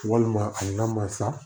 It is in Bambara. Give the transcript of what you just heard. Walima a n'a ma sa